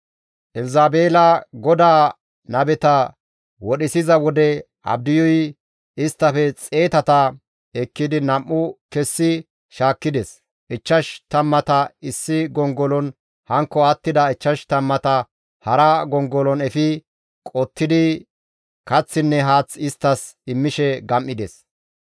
Elzabeela GODAA nabeta wodhisiza wode Abdiyuy isttafe xeetata ekkidi nam7u kessi shaakkides; ichchash tammata issi gongolon hankko attida ichchash tammata hara gongolon efi qottidi kaththinne haath isttas immishe gam7ides.